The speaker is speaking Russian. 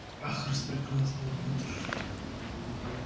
ах распрекрасный пётр